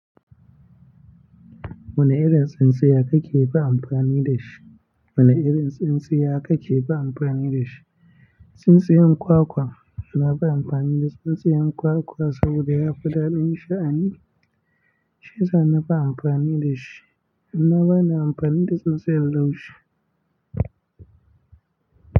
Wane irin tsintsinya ka ke fin amfani da shi. Wani irin tsintsinya aka ke ba amfani da shi. Tsintsiyan kwakwa, nafi amfani da tsintsinyan kwakwa saboda yafi daɗin sha'ani, shiyasa nafi amfani da shi. Ni bana amfani da tsintsiyar laushi.